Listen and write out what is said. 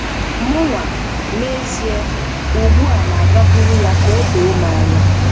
Mụnwa, n'ezie, ugbu a na-agakwuru ya ka o doo m anya.